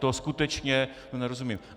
Tomu skutečně nerozumím.